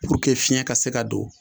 fiɲɛ ka se ka don